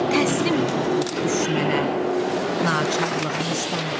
Təslim oluruq düşmənə naçarlığımızdan.